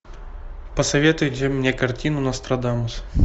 посоветуйте мне картину нострадамус